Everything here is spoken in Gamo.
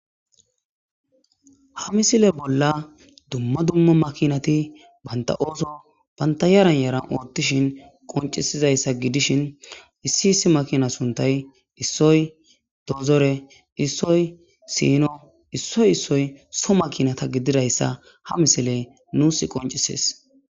ha misile bolla dumma dumma makinati banta ooso banta yaranyaran oottishin qoncisizayssa gidishin issi issi makina suntay issoy dozore issoy siino issoy issoy so makinata gididayssa ha misiley nuus qoncisis